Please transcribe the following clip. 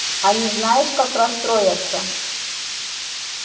они знаешь как расстроятся